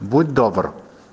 будь добр